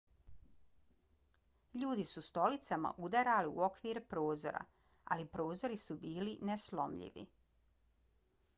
ljudi su stolicama udarali u okvire prozora ali prozori su bili neslomljivi